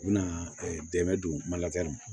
U bɛna dɛmɛ don mali ma